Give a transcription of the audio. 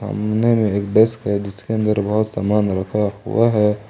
नहीं नहीं एक डेस्क है जिसके अंदर बहुत सामान रखा हुआ है।